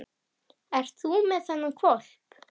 Ert þú með þennan hvolp?